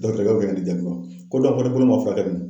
Dɔgɔtɔrɔɛk be ka ne ko dɔn fɛnɛ bolo ma furakɛ